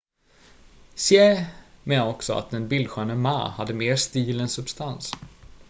hsieh menade också att den bildsköne ma hade mer stil än substans